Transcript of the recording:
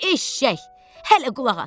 Eşşək, hələ qulaq asır.